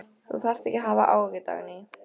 Þú þarft ekki að hafa áhyggjur, Dagný.